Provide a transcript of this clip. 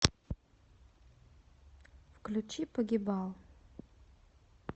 включи погибал